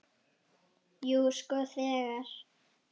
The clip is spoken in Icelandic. Jú, sko þegar.